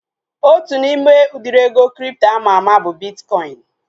Otu n'ime udiri ego kripto ama ama bụ bitkọin